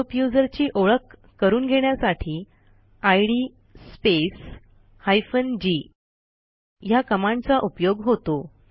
group युजरची ओळख करून घेण्यासाठी इद स्पेस हायफेन जी ह्या कमांडचा उपयोग होतो